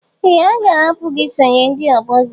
Ee, a ga-ahapụ gị isonye ndị ọgbọ gị.